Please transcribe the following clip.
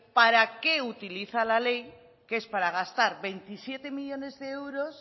para qué utiliza la ley que es para gastar veintisiete millónes de euros